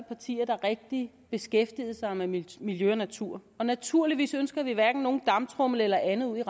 partier der rigtig beskæftigede sig med miljø og natur og naturligvis ønsker vi hverken nogen damptromle eller andet ud